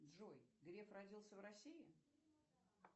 джой греф родился в россии